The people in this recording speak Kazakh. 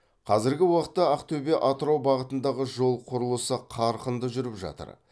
қазіргі уақытта ақтөбе атырау бағытындағы жол құрылысы қарқынды жүріп жатыр